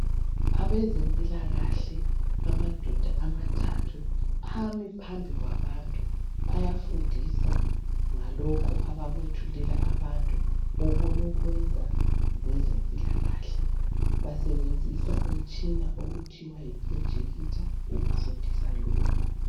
Abezempilakahle amadoda amathathu Ami phambi kwabantu ayafundisa ngalokhu abakwethulela abantu abasebenza ngezempilakahle basebenzisa umtshina okuthiwa yiprojekitha ukufundisa lokhu.